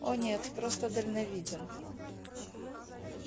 о нет просто дальновиден